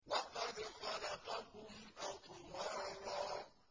وَقَدْ خَلَقَكُمْ أَطْوَارًا